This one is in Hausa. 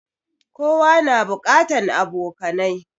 Kowa na buƙatan abokanai